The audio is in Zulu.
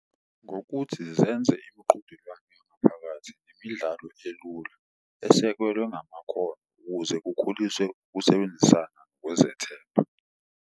Ngokuthi zenze imuqhudelwano yangaphakathi imidlalo elula esekelwe ngamakhono ukuze kukhuliswe ukusebenzisa kwezethemba.